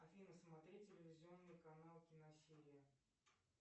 афина смотреть телевизионный канал киносерия